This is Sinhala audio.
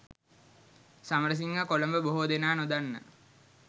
සමරසිංහ කොළඹ බොහෝ දෙනා නොදන්න